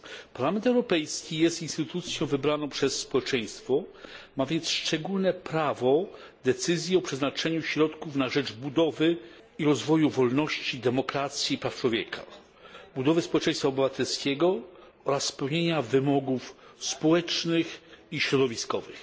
Parlament Europejski jest instytucją wybraną przez społeczeństwo, ma więc szczególne prawo do podejmowania decyzji o przeznaczeniu środków na rzecz budowy i rozwoju wolności, demokracji i praw człowieka, budowy społeczeństwa obywatelskiego oraz spełnienia wymogów społecznych i środowiskowych.